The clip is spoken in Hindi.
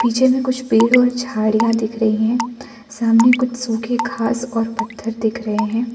पीछे में कुछ पेड़ और झाड़ियां दिख रही है सामने कुछ सुखी खास और पत्थर दिख रहे हैं।